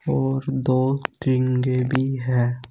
और दो तीन देवी हैं।